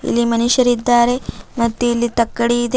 ಇಲ್ಲಿ ಮನುಷ್ಯರಿದ್ದಾರೆ ಮತ್ತು ಇಲ್ಲಿ ತಕ್ಕಡಿ ಇದೆ.